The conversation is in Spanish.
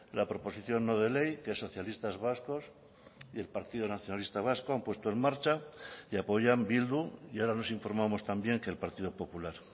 la proposición no de ley que socialistas vascos y el partido nacionalista vasco han puesto en marcha y apoyan bildu y ahora nos informamos también que el partido popular